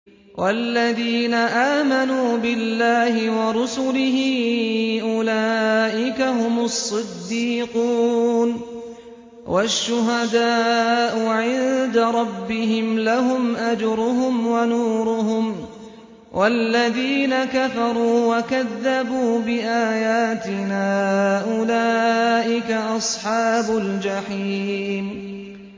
وَالَّذِينَ آمَنُوا بِاللَّهِ وَرُسُلِهِ أُولَٰئِكَ هُمُ الصِّدِّيقُونَ ۖ وَالشُّهَدَاءُ عِندَ رَبِّهِمْ لَهُمْ أَجْرُهُمْ وَنُورُهُمْ ۖ وَالَّذِينَ كَفَرُوا وَكَذَّبُوا بِآيَاتِنَا أُولَٰئِكَ أَصْحَابُ الْجَحِيمِ